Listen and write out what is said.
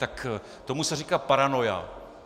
Tak tomu se říká paranoia.